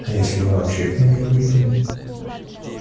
а если мы вообще к ним не выйдем